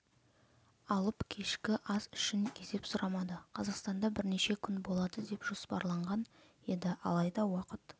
алып кешкі ас үшін есеп сұрамады қазақстанда бірнеше күн болады деп жоспарланған еді алайда уақыт